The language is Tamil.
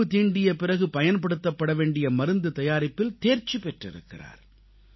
பாம்பு தீண்டிய பிறகு பயன்படுத்தப்பட வேண்டிய மருந்து தயாரிப்பில் தேர்ச்சி பெற்றிருக்கிறார்